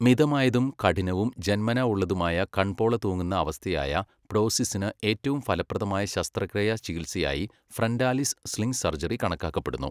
മിതമായതും കഠിനവും ജന്മനാ ഉള്ളതുമായ കൺപോള തൂങ്ങുന്ന അവസ്ഥയായ പ്ടോസിസിന് ഏറ്റവും ഫലപ്രദമായ ശസ്ത്രക്രിയാ ചികിത്സയായി 'ഫ്രന്റാലിസ് സ്ലിംഗ് സർജറി' കണക്കാക്കപ്പെടുന്നു.